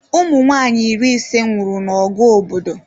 Ụmụnwaanyị iri ise nwụrụ na ọgụ obodo